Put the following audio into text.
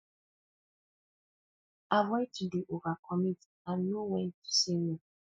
avoid to dey overcommit and know when to say no